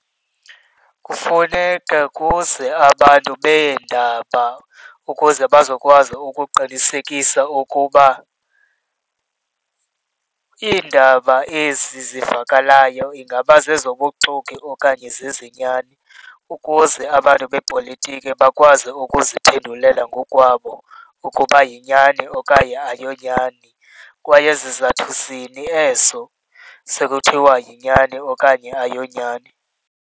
Kufuneka kuze abantu beendaba ukuze bazokwazi ukuqinisekisa ukuba iindaba ezi zivakalayo ingaba zezobuxoki okanye zezenyani ukuze abantu bepolitiki bakwazi ukuziphendulela ngokwabo ukuba yinyani okanye ayiyonyani, kwaye zizathu zini ezo sekuthiwa yinyani okanye ayiyonyani.